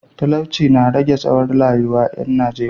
Talauci ya rage tsawon rayuwar ‘yan Najeriya